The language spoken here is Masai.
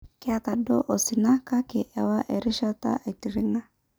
'Keta duo osina, kake ewa erishata aitiringa